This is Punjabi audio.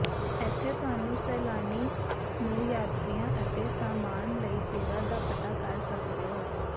ਇੱਥੇ ਤੁਹਾਨੂੰ ਸੈਲਾਨੀ ਨੂੰ ਯਾਤਰੀਆ ਅਤੇ ਸਾਮਾਨ ਲਈ ਸੇਵਾ ਦਾ ਪਤਾ ਕਰ ਸਕਦੇ ਹੋ